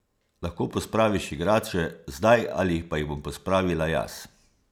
Lahko pospraviš igrače zdaj ali pa jih bom pospravila jaz.